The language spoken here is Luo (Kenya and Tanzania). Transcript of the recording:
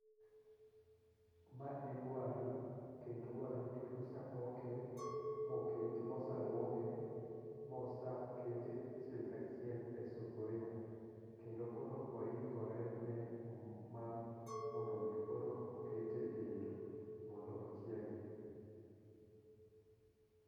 Ma en waru kendo waru ni osepoke mokete mosaluoke mosakete achiel kachiel e sufuria kendo koro oikore mar mondo mi koro okete e kendo mondo ochiegi